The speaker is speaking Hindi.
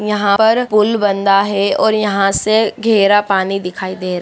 यहाँ पर पुल बंधा है और यहाँ से घेरा पानी दिखाई दे रहा --